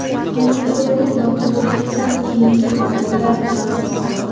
homiladorlik va tug‘ilgandan keyingi omillar bilan bog‘liq.